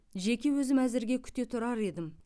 жеке өзім әзірге күте тұрар едім